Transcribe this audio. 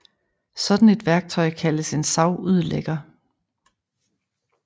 Sådan et værktøj kaldes en savudlægger